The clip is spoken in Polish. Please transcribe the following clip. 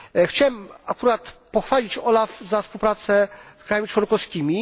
Chciałem akurat pochwalić OLAF za współpracę z państwami członkowskimi.